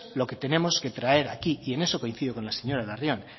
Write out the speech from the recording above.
lo que tenemos que traer aquí y en eso coincido con la señora larrión